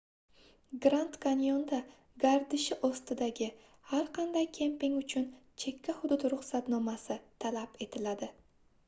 grand kanyonda gardishi ostidagi har qanday kemping uchun chekka hudud ruxsatnomasi talab etiladi